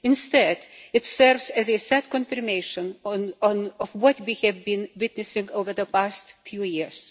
Instead, it serves as a sad confirmation of what we have been witnessing over the past few years.